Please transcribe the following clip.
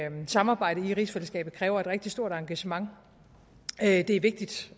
samarbejdet i rigsfællesskabet kræver et rigtig stort engagement det er vigtigt